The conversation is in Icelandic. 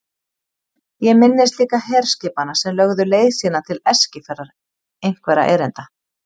Ég minnist líka herskipanna sem lögðu leið sína til Eskifjarðar einhverra erinda.